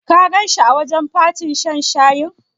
Ka ganshi a wajen fatin shan shayin?